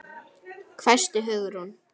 hvæsti Hugrún.